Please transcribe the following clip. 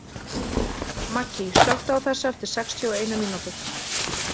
Maggý, slökktu á þessu eftir sextíu og eina mínútur.